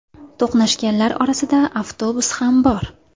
To‘qnashganlar orasida avtobus ham bor .